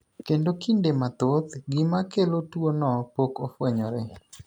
Kende kinde mathoth, gima kelo tuo no pok ofwenyore.